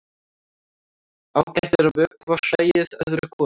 Ágætt er að vökva hræið öðru hvoru.